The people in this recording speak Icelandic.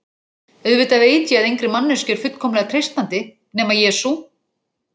Auðvitað veit ég að engri manneskju er fullkomlega treystandi, nema Jesú